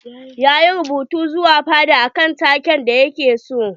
Ya yi rubutu zuwa fada akan take da ya ke so.